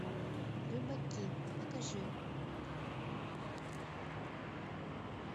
рыбаки покажи